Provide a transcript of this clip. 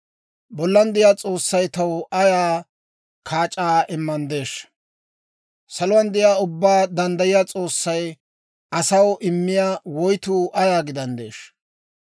Bollan de'iyaa S'oossay taw ayaa kaac'aa immanddeeshsha? Saluwaan de'iyaa Ubbaa Danddayiyaa S'oossay asaw immiyaa woytuu ayaa gidanddeeshsha?